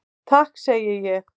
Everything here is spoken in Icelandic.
Takk segi ég.